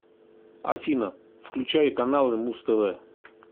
афина включай каналы муз тв